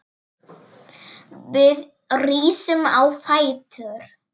Við rísum á fætur.